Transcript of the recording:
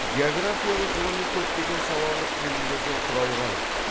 географиялы ғылыми көптеген салалық бөлімдерден құралған